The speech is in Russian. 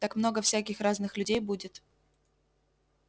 так много всяких разных людей будет